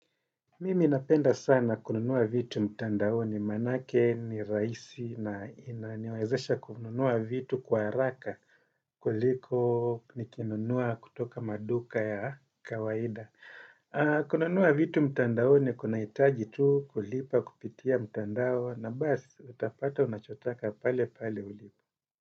Mimi napenda sana kununua vitu mtandaoni maanake ni rahisi na inaniwezesha kununua vitu kwa haraka kuliko nikinunua kutoka maduka ya kawaida. Kununua vitu mtandaoni kunahitaji tu kulipa kupitia mtandao na basi utapata unachotaka pale pale ulipo.